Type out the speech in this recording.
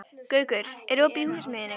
Gaukur, er opið í Húsasmiðjunni?